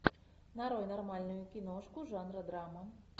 нарой нормальную киношку жанра драма